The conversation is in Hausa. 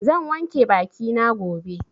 Zan wanke baki na gobe.